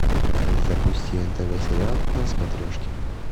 запусти нтв сериал на смотрешке